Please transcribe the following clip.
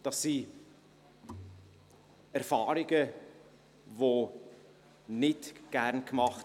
Das sind Erfahrungen, die man nicht gerne macht.